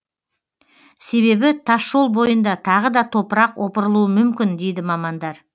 себебі тасжол бойында тағы да топырақ опырылуы мүмкін дейді мамандар